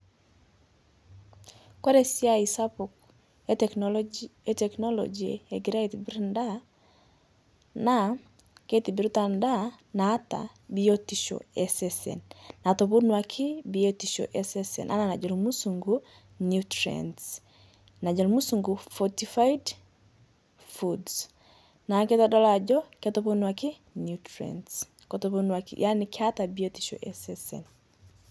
Kore siai sapuk e teknoloji, e teknoloji egira aitibiir ndaa naa keitibirita ndaa naata biotisho esesen natoponoaki biotisho esesen ana najoo musunguu nutrients najoo musunguu [cs fortified food naa keitodooluu ajoo keitoponuaki nutrients keitoponuaki yaani keetaa biotisho esesen.